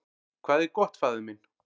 """Hvað er gott, faðir minn?"""